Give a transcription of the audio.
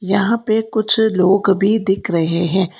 यहां पे कुछ लोग भी दिख रहे है।